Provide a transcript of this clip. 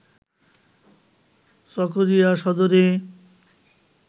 চকোরিয়া সদরে